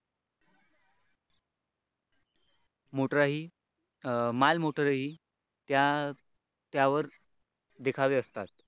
Motor आहे माल motor ही त्या त्यावर देखावे असतात.